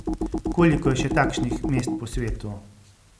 Koliko je še takšnih mest po svetu?